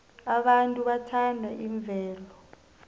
abantu bathanda imvelo